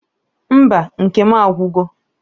Mba nke m agwugo